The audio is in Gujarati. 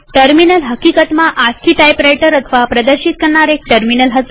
ટર્મિનલ હકીકતમાં આસ્કી ટાઈપરાઈટર અથવા પ્રદર્શિત એટલેકે ડિસ્પ્લે કરનાર એક ટર્મિનલ હતું